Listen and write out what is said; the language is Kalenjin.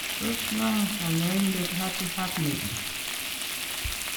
Tos ng'o kanyaindet Abiy Ahmed?